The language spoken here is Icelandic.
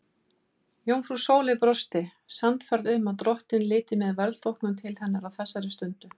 Jómfrú Sóley brosti, sannfærð um að drottinn liti með velþóknun til hennar á þessari stundu.